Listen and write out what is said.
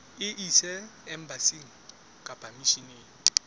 e ise embasing kapa misheneng